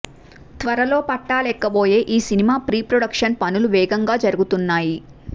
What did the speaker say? త్వరలో పట్టాలేక్కబోయే ఈ సినిమా ప్రీ ప్రొడక్షన్ పనులు వేగంగా జరుగుతున్నాయి